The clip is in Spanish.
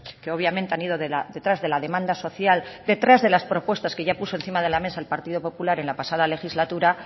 que obviamente han ido detrás de la demanda social detrás de las propuestas que ya puso encima de la mesa el partido popular en la pasada legislatura